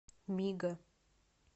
мига